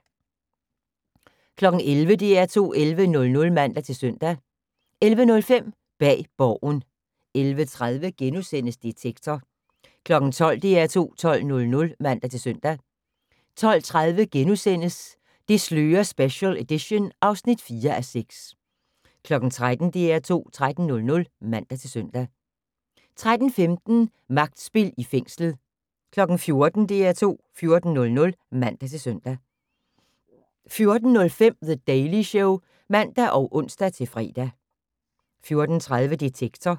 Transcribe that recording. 11:00: DR2 11:00 (man-søn) 11:05: Bag Borgen 11:30: Detektor * 12:00: DR2 12:00 (man-søn) 12:30: Det slører special edition (4:6)* 13:00: DR2 13:00 (man-søn) 13:15: Magtspil i fængslet 14:00: DR2 14:00 (man-søn) 14:05: The Daily Show (man og ons-fre) 14:30: Detektor